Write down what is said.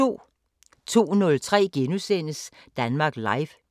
02:03: Danmark Live *